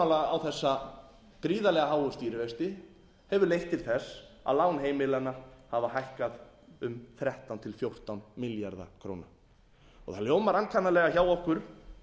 á þessa gríðarlega háu stýrivexti hefur leitt til þess að lán heimilanna hafa hækkað um þrettán til fjórtán milljarða króna það hljómar ankannalega hjá okkur